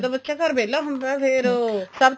ਜਦੋਂ ਬੱਚਾ ਘਰ ਵਹਿਲਾ ਹੁੰਦਾ ਫੇਰ ਉਹ ਸਭ